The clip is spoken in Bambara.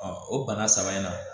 o bana saba in na